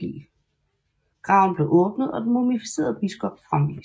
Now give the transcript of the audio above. Graven blev åbnet og den mumificerede biskop fremvist